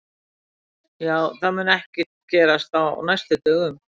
Já, það mun ekkert gerast á næstu dögum.